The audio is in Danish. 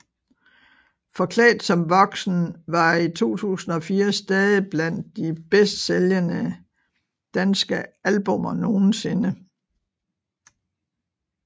Forklædt som voksen var i 2004 stadig blandt de bedst sælgende danske albummer nogensinde